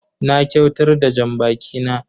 Na kyautar da janbaki na.